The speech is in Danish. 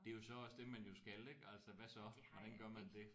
Det er jo så også det man jo skal ik altså hvad så? Hvordan gør man det?